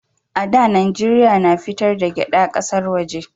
A da Najeriya na fitar da gyada ƙasar waje